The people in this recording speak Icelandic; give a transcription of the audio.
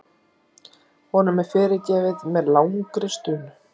Honum er fyrirgefið með langri stunu.